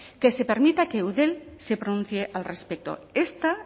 que se permita que eudel se pronuncie al respecto